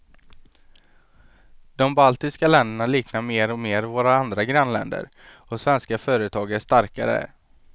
De baltiska länderna liknar mer och mer våra andra grannländer och svenska företag är starka där.